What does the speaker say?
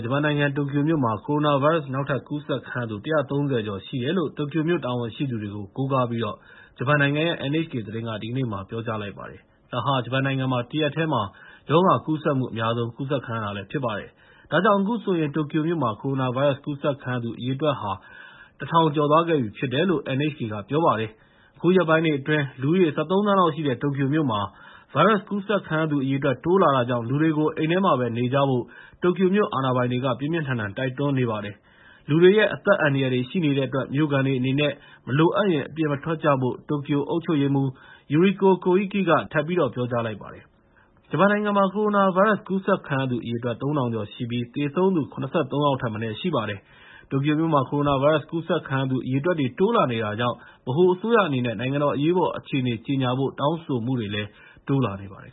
ဂျပန်နိုင်ငံ တိုကျိုမြို့မှာ ကိုရိုနာဗိုင်းရပ်စ်ပိုး နောက်ထပ်ကူးစက်ခံရသူ ၁၃၀ ကျော်ရှိတယ်လို့ တိုကျိုမြို့ တာဝန်ရှိသူတွေကို ကိုးကားပြီး ဂျပန်နိုင်ငံရဲ့ NHK သတင်းက ဒီကနေ့ ပြောကြားလိုက်ပါတယ်။ ဒါဟာ ဂျပန်နိုင်ငံမှာ တရက်တည်းမှာ ရောဂါကူးစက်မှုအများဆုံး ကူးစက်ခံရတာ ဖြစ်ပါတယ်။ ဒါကြောင့် အခုဆိုရင် တိုကျိုမြို့မှာ ကိုရိုနာဗိုင်းရပ်စ် ကူးစက်ခံရသူ အရေအတွက်ဟာ ၁ ထောင်ကျော်သွားခဲ့ပြီဖြစ်တယ်လို့ NHK က ပြောပါတယ်။ အခုရက်ပိုင်းတွေအတွင်း လူဦးရေ ၁၃ သန်းလောက်ရှိတဲ့ တိုကျိုမြို့မှာ ဗိုင်းရပ်စ်ကူးစက်ခံရသူ အရေအတွက် တိုးလာတာကြောင့် လူတွေကို အိမ်ထဲမှာပဲ နေကြဖို့ တိုကျိုမြို့ အာဏာပိုင်တွေက ပြင်းပြင်းထန်ထန် တိုက်တွန်းနေပါတယ်။ လူတွေရဲ့ အသက်အန္တရာယ်တွေ ရှိနေတဲ့အတွက် မြို့ခံတွေအနေနဲ့ မလိုအပ်ရင် အပြင်မထွက်ကြဖို့ တိုကျိုအုပ်ချုပ်ရေးမှူး Yuriko Koike က ဒီကနေ့မနက် သတင်းအစီအစဉ်က ထပ်ပြီးတော့ ပြောကြားလိုက်ပါတယ်။ ဂျပန်နိုင်ငံကို ကိုရိုနာဗိုင်းရပ်စ် ကူးစက်ခံရသူ အရေအတွက် ၃ ထောင်ကျော်ရှိပြီး သေဆုံးသူ ၇၃ ယောက်ထက်မနည်း ရှိပါတယ်။ တိုကျိုမြို့မှာ ကိုရိုနာဗိုင်းရပ်စ် ကူးစက်ခံရသူ အရေအတွက်တွေ တိုးလာနေတာကြောင့် ဗဟိုအစိုးရအနေနဲ့ နိုင်ငံတော် အရေးပေါ်အခြေအနေ ကြေညာဖို့ တောင်းဆိုမှုတွေလည်း တိုးလာနေပါတယ်